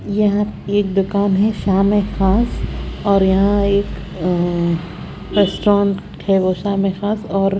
यहाँ एक दुकान हैं शाम ए खास और यहाँ एक अ रेस्टोरेंट हैं शाम ए खास और --